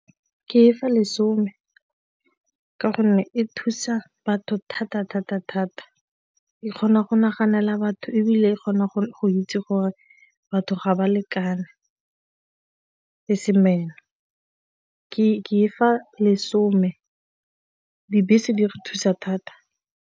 Ke e fa lesome ka gonne e thusa batho thata-thata-thata, e kgona go naganela batho ebile e kgona go itse gore batho ga ba lekane le ke fa lesome, dibese di re thusa thata.